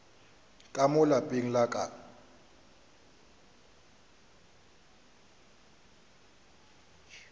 ka mo lapeng la ka